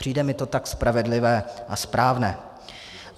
Přijde mi to tak spravedlivé a správné.